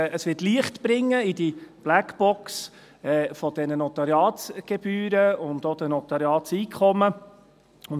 Das wird Licht in die Blackbox dieser Notariatsgebühren und auch in die Notariatseinkommen bringen.